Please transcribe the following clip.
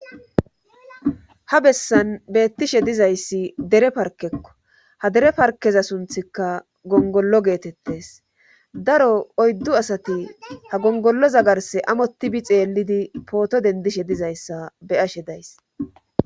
ha bessan beettishe dizayssi dere parkekko ha dere parkeza sunthikka gongollo geetettes daro oyddu asati ha gongolloza garse amotibi xeellidi pooto dendishe dizayssa beyashe days